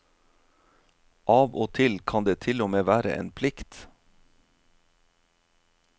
Av og til kan det til og med være en plikt.